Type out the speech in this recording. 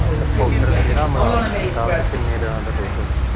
ਪੋਡਕ ਕਿਹੜਾ ਮਿਲਾਵਟ ਕੀਤਾ ਤੇ ਕਿੰਨੇ ਦਿਨਾ ਦਾ ਆ